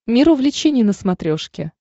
мир увлечений на смотрешке